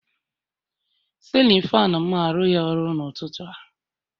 Sịlịn faanụ mụ arụghi ọrụ n'ụtụtụ a